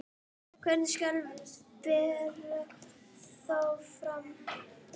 Hvernig skal bera þá fram?